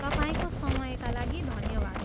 तपाईँको समयका लागि धन्यवाद!